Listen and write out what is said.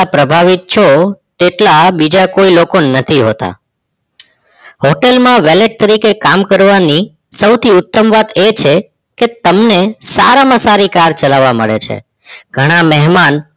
પ્રાભાવિત છો તેટલા બીજા કોઇ લોકો નથી હોતા hotel મા વેલેત તરીકે કામ કરવાની સૌથી ઉત્તમ વાત એ છે કે તમને સારામા સારી car ચલાવા મળે છે. ઘણાં મેહમાન